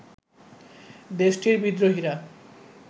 দেশটির বিদ্রোহীরা